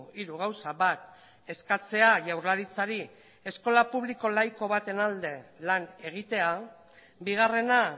hiru gauza bat eskatzea jaurlaritzari eskola publiko laiko baten alde lan egitea bigarrena